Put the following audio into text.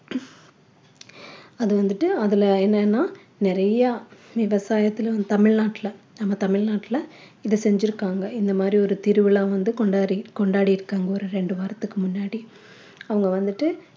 அது வந்துட்டு அதுல என்னன்னா நிறையா விவசாயத்திலும் தமிழ்நாட்டுல நம்ம தமிழ்நாட்டுல இத செஞ்சுருக்காங்க இந்த மாதிரி ஒரு திருவிழா வந்து கொண்டாடி கொண்டாடி இருக்கிறாங்க ஒரு ரெண்டு வாரத்துக்கு முன்னாடி அவங்க வந்துட்டு